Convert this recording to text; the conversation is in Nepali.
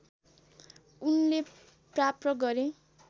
उनले प्राप्त गरे